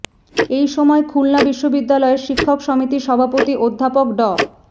এই সময় খুলনা বিশ্ববিদ্যালয়ের শিক্ষক সমিতির সভাপতি অধ্যাপক ড